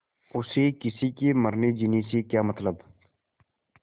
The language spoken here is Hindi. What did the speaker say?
उसे किसी के मरनेजीने से क्या मतलब